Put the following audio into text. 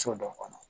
So dɔ kɔnɔ